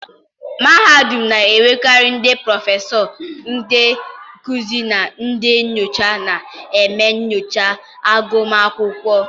mahadum na-enwekarị ndị prọfesọ, ndị nkuzi na ndị nyocha na-eme nyocha agụmakwụkwọ.